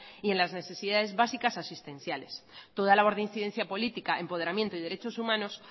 y en las necesidades básicas asistenciales toda labor de incidencia política empoderamiento y derechos humanos